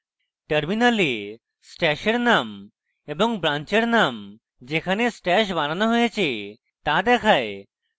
terminal stash এর name এবং branch এর name যেখানে stash বানানো হয়েছে তা দেখায়